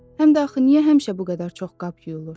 Həm də axı niyə həmişə bu qədər çox qab yuyulur?